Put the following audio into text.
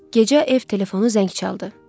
Gecə ev telefonu zəng çaldı.